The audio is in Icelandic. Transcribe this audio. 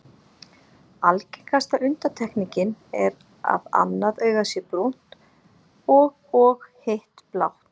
Algengasta undantekningin er að annað augað sé brúnt og og hitt blátt.